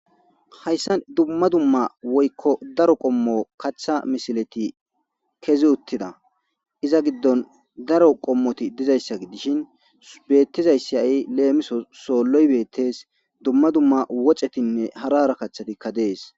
hayssan dumma dumma woykko daro qommo kaththa misileti kezi uttida iza giddon daro qommoti dizayssa gi dishin beettizayssa ay leemiso soolloy beettees dumma dumma woxetinne hara hara kaththatikka dees